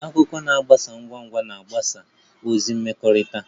Akụkọ na-agbasa ngwa ngwa na mgbasa ozi mmekọrịta